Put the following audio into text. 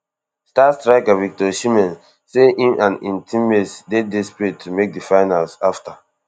star striker victor osimhen say im and im teammates dey desperate to make di finals afta